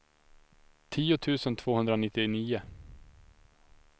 tio tusen tvåhundranittionio